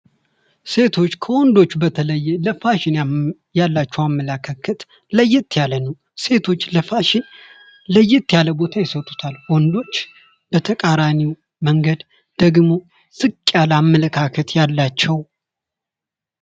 ሴቶች ከወንዶች በተለየ ለፋሽን ያላቸው አመለካከት ለየት ያለ ነው ። ሴቶች ለፋሽን ለየት ያለ ቦታ ይሰጡታል። ወንዶች በተቃራኒው መንገድ ደግሞ ዝቅ ያለ አመለካከት ያላቸው